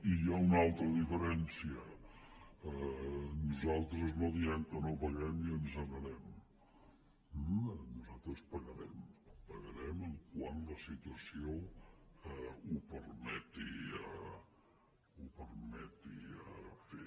i hi ha una altra diferència nosaltres no diem que no paguem i ens n’anem eh nosaltres pagarem pagarem quan la situació ho permeti fer